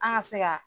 An ka se ka